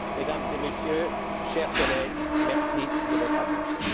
Mesdames et Messieurs, chers collègues, merci de votre attention.